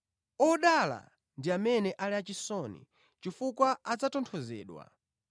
Odala ndi amene ali achisoni, chifukwa adzatonthozedwa.